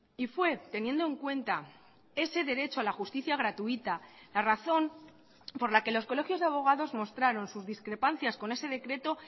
y fue teniendo en cuenta ese derecho a la justicia gratuita la razón por la que los colegios de abogados mostraron sus discrepancias con ese decreto